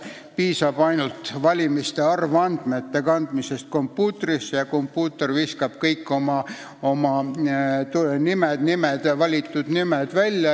Piisab ainult valimiste arvandmete kandmisest kompuutrisse ja kompuuter viskab kõik valituks osutunute nimed välja.